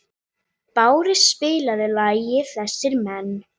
Brá, spilaðu lagið „Þessir Menn“.